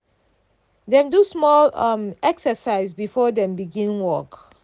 dem do small um exercise before dem begin work.